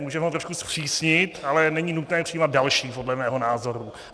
Můžeme ho trošku zpřísnit, ale není nutné přijímat další podle mého názoru.